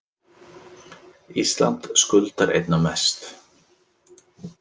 Ísland skuldar einna mest